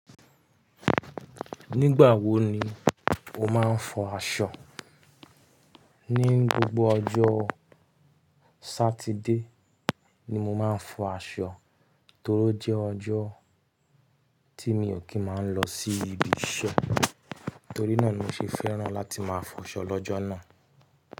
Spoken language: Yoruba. Nígbà wo ni o máa ń fọ aṣọ? Ni gbogbo ọjọ́ Sátidé ni mo máa ń fọ aṣọ torí ó jẹ́ ọjọ́ tí mi ò kí máa lọ sí ibi iṣẹ́. Torí náà ni mo ṣe fẹ́ràn láti máa fọ aṣọ lọ́jọ́ náà.